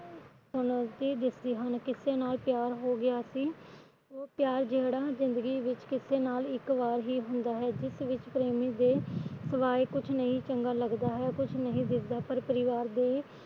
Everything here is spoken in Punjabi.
ਕਿਸੇ ਨਾਲ ਪਿਆਰ ਹੋ ਗਿਆ ਸੀ ਉਹ ਪਿਆਰ ਜਿਹੜਾ ਜਿੰਦਗੀ ਵਿੱਚ ਕਿਸੇ ਨਾਲ ਇੱਕ ਵਾਰ ਹੀ ਹੁੰਦਾ ਹੈ ਜਿਸ ਵਿੱਚ ਪ੍ਰੇਮੀ ਦੇ ਸਿਵਾਏ ਕੁਛ ਨਹੀਂ ਚੰਗਾ ਲੱਗਦਾ ਹੈ ਕੁਛ ਨਹੀਂ ਦਿਸਦਾ ਪਰ ਪਰਿਵਾਰ ਦੇ